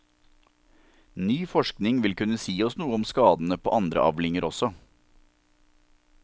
Ny forskning vil kunne si oss noe om skadene på andre avlinger også.